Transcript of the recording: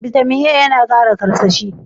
Bitamin A ya na Kara karsashi.